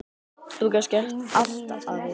Þú gast gert allt, afi.